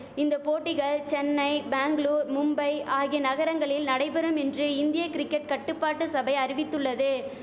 இந்த போட்டிகள் சென்னை பேங்களூர் மும்பை ஆகிய நகரங்களில் நடைபெறும் என்று இந்திய கிரிக்கட் கட்டுப்பாட்டு சபை அறிவித்துள்ளது